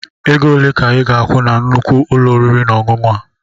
Ego ole ka ịga-akwụ na nnukwu ụlọ oriri na ọṅụṅụ a?